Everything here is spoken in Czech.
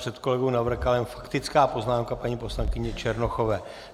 Před kolegou Navrkalem faktická poznámka paní poslankyně Černochové.